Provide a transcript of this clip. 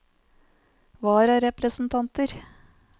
vararepresentanter